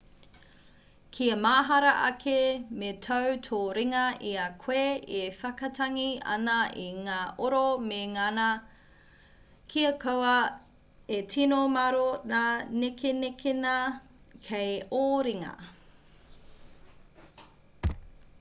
kia mahara ake me tau tō ringa i a koe e whakatangi ana i ngā oro me ngana kia kaua e tino māro ngā nekenekenga kei ō ringa